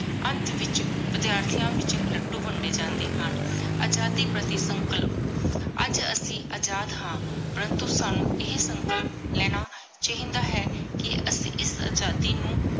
ਅਨਤ ਵਿਚ ਵਿਦ੍ਯਾਥਿਯਾਂ ਵਿਚ ਲੁਦ੍ਦੋ ਵੰਡੇ ਜਾਂਦੇ ਹਨ ਆਜ਼ਾਦੀ ਪਾਰਟੀ ਸੰਕਲ ਅਜੇ ਅਸੀਂ ਅਜਾਦ ਹਨ ਪ੍ਰਾੰਤੋ ਸਾਨੂ ਏਹੀ ਸੰਕਲ ਲੇਣਾ ਚਾਹੀ ਦਾ ਹੈ ਕੀ ਅਸੀਂ ਇਸ ਆਜ਼ਾਦੀ ਨੂ